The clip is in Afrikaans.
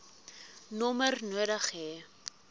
nommer nodig hê